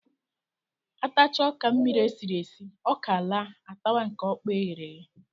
A tachaa ọka mmiri e siri esi, ọka laa, a tawa nke ọkpọọ e ghere eghe